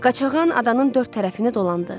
Qaçağan adanın dörd tərəfini dolandı.